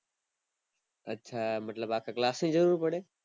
આછા મતલબ અખા class ની જરૂર પડે